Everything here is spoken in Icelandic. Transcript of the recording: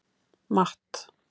Matt